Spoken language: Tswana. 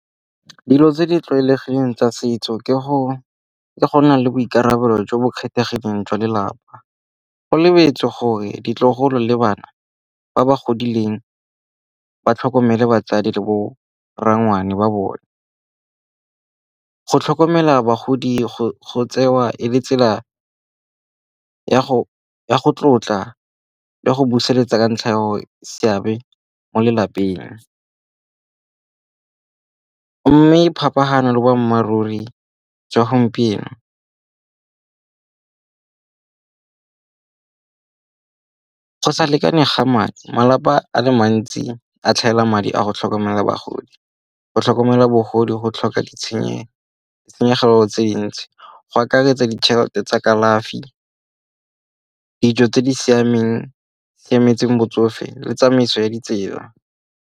Dilo tse di tlwaelegileng tsa setso ke go nna le boikarabelo jo bo kgethegileng jwa lelapa. Go lebetswe gore ditlogolo le bana ba ba godileng ba tlhokomele batsadi le bo rrangwane ba bone. Go tlhokomela bagodi go tsewa e le tsela ya go tlotla le go buseletsa ka ntlha ya gore seabe mo lelapeng. Mme phapano le boammaaruri jwa gompieno. Go sa lekane ga madi. Malapa a le mantsi a tlhaela madi a go tlhokomela bagodi. Go tlhokomela bogodi go tlhoka ditshenyegelo tse dintsi go akaretsa ditšhelete tsa kalafi, dijo tse di siameng tse di siametseng botsofe le tsamaiso ya ditsela.